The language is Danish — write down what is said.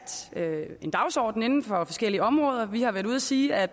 en dagsorden inden for forskellige områder vi har været ude at sige at